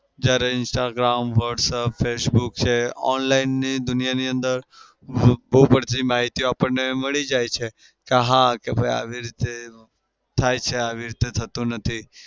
જયારે instagram whatapp facebook છે online ની દુનિયાની અંદર બઉ બધી માહિતી આપણને મળી જાય છે કે હા આવી રીતે થાય છે આવી રીતે થતું નથી.